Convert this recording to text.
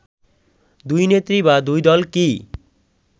দুই নেত্রী বা দুই দল কি